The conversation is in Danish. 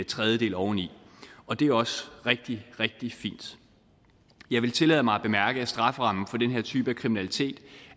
tredjedel oveni og det er også rigtig rigtig fint jeg vil tillade mig at bemærke at strafferammen for den her type af kriminalitet